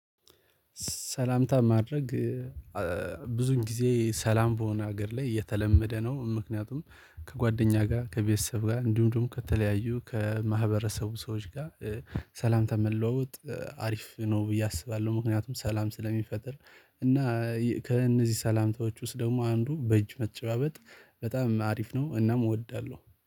ሰላምታ ማድረግ ብዙን ጊዜ ሰላም በሆነ ሀገር ላይ የተለመደ ነው። ምክንያቱም ከጓደኛ ጋር ከቤተሰብ ጋር እንዲሁም ከተለያዩ ከማህበረሰቡ ሰዎች ጋር። ሰላምታ መለወጥ አሪፍ ነው ብዬ አስባለሁ ምክንያቱም ሰላም ስለሚፈጥር። እና ከእነዚህ ሰላምታዎች ውስጥ ደግሞ አንዱ በእጅ መጨባበጥ በጣም አሪፍ ነው። እናም እወዳለሁ